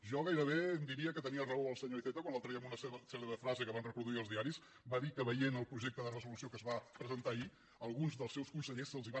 jo gairebé diria que tenia raó el senyor iceta quan l’altre dia en una cèlebre frase que van reproduir els diaris va dir que veient el projecte de resolució que es va presentar ahir a alguns dels seus consellers se’ls van